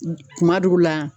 Kuma dugu la